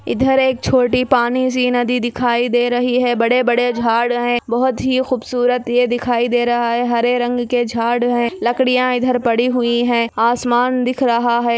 इधर एक छोटी पाणीसी नदी दिखाई दे रही हे बड़े बड़े झाड़ हे बहोत ही खुबसुरत ए दिखाई दे रहा हे हरे रंग के झाड़ हे लकडिया इधर पड़ी हुई हे आसमान दिख रहा हे|